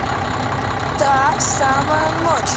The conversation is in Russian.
та самая ночь